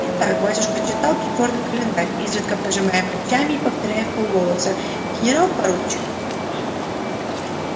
итак батюшка читал придворный календарь изредка пожимая плечами и повторяя вполголоса генерал-поручик